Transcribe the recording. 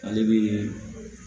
Ale bi